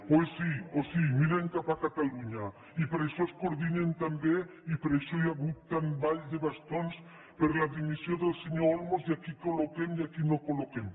o sí o sí miren cap a catalunya i per això es coordinen tan bé i per això hi ha hagut tants ball de bastons per la dimissió del senyor olmos i a qui col·loquem i a qui no col·loquem